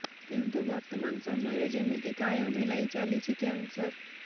କିନ୍ତୁ ବର୍ତ୍ତମାନ ସମୟରେ ଯେମିତି କାୟା ମେଲାଇ ଚାଲିଛି କ୍ୟାନ୍ସର